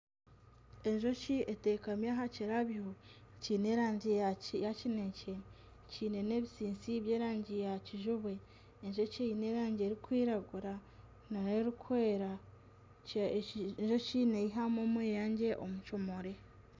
Enjoki etekami aha kirabyo kiine erangi ya kineekye kiine n'ebitsitsi by'erangi ya kijubwe, enjoki eine erangi erikwiragura nana erikwera, enjoki neeyihamu omweyangye omu kimuri